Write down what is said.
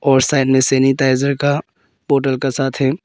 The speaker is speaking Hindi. और साइड में सैनिटाइजर का बोतल का साथ है।